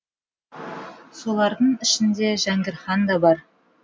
солардың ішінде жәңгір хан да бар